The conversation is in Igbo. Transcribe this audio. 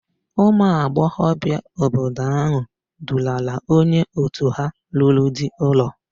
Ụmụagbọghọbịa obodo áhụ̀ dulara onye òtù ha lụrụ di ụlọ.